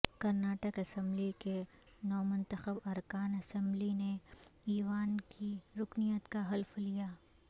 Karnataka assembly کے نومنتخب ارکان اسمبلی نے ایوان کی رکنیت کا حلف لیا